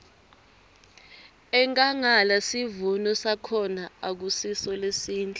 enkhangala sivuno sakhona akusiso lesihle